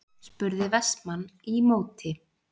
spurði Vestmann í móti.